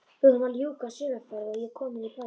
Við vorum að ljúka sumarferð og ég kominn í bæinn.